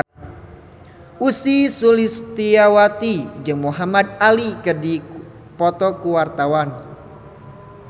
Ussy Sulistyawati jeung Muhamad Ali keur dipoto ku wartawan